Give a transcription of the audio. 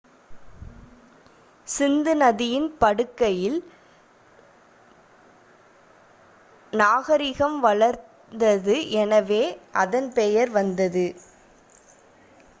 சிந்து நதியின் படுகையில் நாகரிகம் வளர்ந்தது எனவே அதன் பெயர் வந்தது